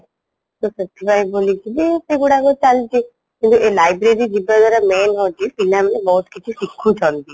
ତ ସେଥିପାଇଁ ବୋଲିକି ସେଗୁଡାକ ଚାଲିଛି କିନ୍ତୁ ଏ library ଯିବାଦ୍ଵାରା main ହଉଚି ପିଲାମାନେ ବହୁତ କିଛି ଶିଖୁଛନ୍ତି